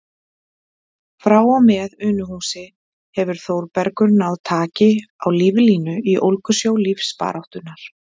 Frá og með Unuhúsi hefur Þórbergur náð taki á líflínu í ólgusjó lífsbaráttunnar.